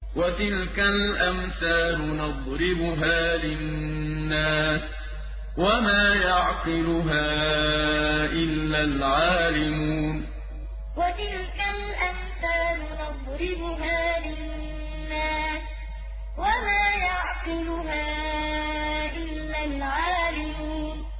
وَتِلْكَ الْأَمْثَالُ نَضْرِبُهَا لِلنَّاسِ ۖ وَمَا يَعْقِلُهَا إِلَّا الْعَالِمُونَ وَتِلْكَ الْأَمْثَالُ نَضْرِبُهَا لِلنَّاسِ ۖ وَمَا يَعْقِلُهَا إِلَّا الْعَالِمُونَ